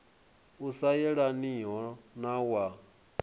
u sa yelaniho na wa